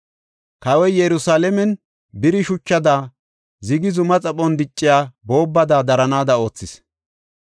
Kawoy Yerusalaamen biri shuchada, zigi zuma xaphon dicciya boobbada daranaada oothis.